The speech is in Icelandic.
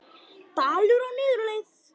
Dalur á niðurleið